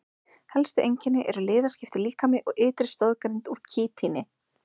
Helstu einkenni eru liðskiptur líkami og ytri stoðgrind úr kítíni.